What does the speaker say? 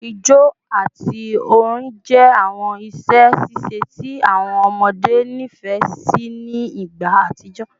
Ijó ati orin jẹ awọn iṣẹ ṣiṣe ti awọn ọmọde nifẹ si ni igba atijọ